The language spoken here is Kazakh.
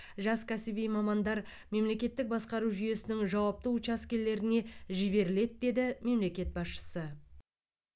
жас кәсіби мамандар мемлекеттік басқару жүйесінің жауапты учаскелеріне жіберіледі деді мемлекет басшысы